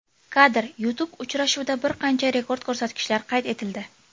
Kadr: YouTube Uchrashuvda bir qancha rekord ko‘rsatkichlar qayd etildi.